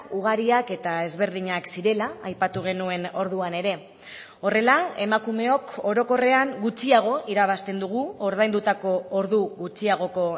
ugariak eta ezberdinak zirela aipatu genuen orduan ere horrela emakumeok orokorrean gutxiago irabazten dugu ordaindutako ordu gutxiagoko